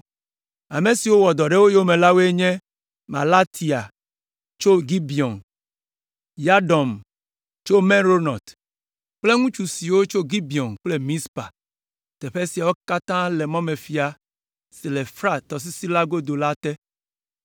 Ame siwo wɔ dɔ ɖe wo yome la woe nye Melatia tso Gibeon, Yadon tso Meronot kple ŋutsu siwo tso Gibeon kple Mizpa; teƒe siawo katã le mɔmefia si le Frat Tɔsisi la godo la te.